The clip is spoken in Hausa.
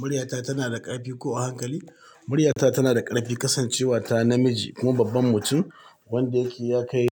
Muryata tana da ƙarfi ko a hankali? Muryata tana da ƙarfi kasancewata namiji kuma babban mutum wanda yake ya kai